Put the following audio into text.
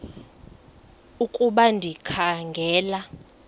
ukuba ndikha ngela